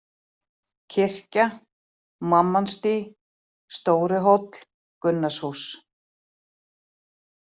Kirkja, Mammonsdý, Stóri-Hóll, Gunnarshús